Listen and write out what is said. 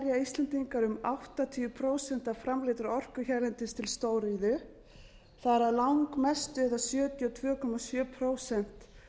íslendingar um áttatíu prósent af framleiddri orku hérlendis til stóriðju þar af langmestu eða sjötíu og tvö komma sjö prósent